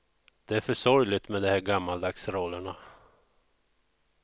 Det är för sorgligt med de här gammaldags rollerna.